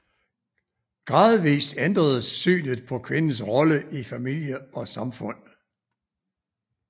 Gradvis ændredes synet på kvindens rolle i familie og samfund